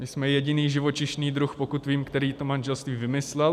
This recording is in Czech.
My jsme jediný živočišný druh, pokud vím, který to manželství vymyslel.